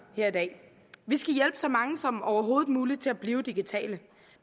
her i dag vi skal hjælpe så mange som overhovedet muligt til at blive digitale